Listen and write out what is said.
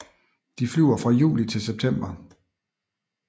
De flyver fra juli til september